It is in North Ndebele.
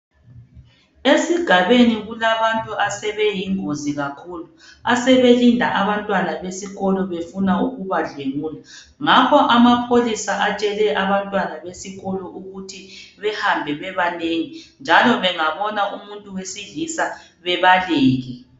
Esigabeni kulabantu asebeyingozi kakhulu asebelinda abantwana besikolo befuna ukubadlwengula. Ngakho amapholisa atshele abantwana besikolo ukuthi behambe bebanengi njalo bangabona umuntu wesilisa bebaleke.